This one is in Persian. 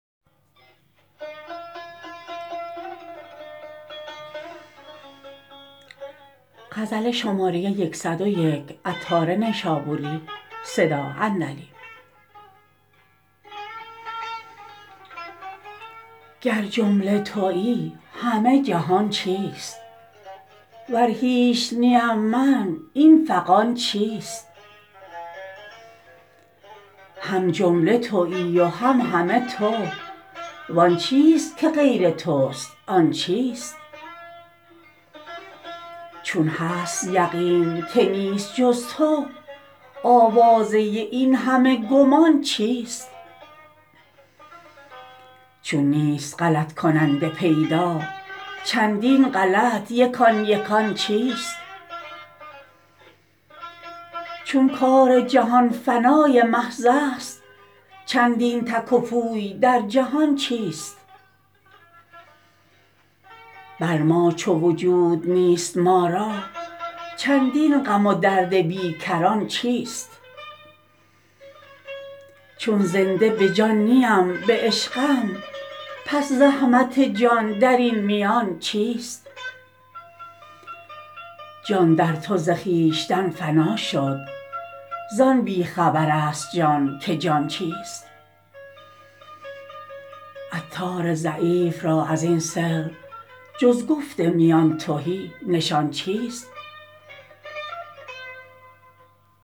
گر جمله تویی همه جهان چیست ور هیچ نیم من این فغان چیست هم جمله تویی و هم همه تو و آن چیست که غیر توست آن چیست چون هست یقین که نیست جز تو آوازه این همه گمان چیست چون نیست غلط کننده پیدا چندین غلط یکان یکان چیست چون کار جهان فنای محض است چندین تک و پوی در جهان چیست بر ما چو وجود نیست ما را چندین غم و درد بی کران چیست چون زنده به جان نیم به عشقم پس زحمت جان درین میان چیست جان در تو ز خویشتن فنا شد زان بی خبر است جان که جان چیست عطار ضعیف را ازین سر جز گفت میان تهی نشان چیست